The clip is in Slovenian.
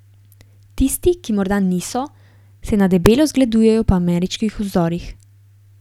Tisti, ki morda niso, se na debelo zgledujejo po ameriških vzorih.